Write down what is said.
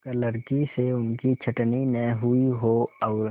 क्लर्की से उनकी छँटनी न हुई हो और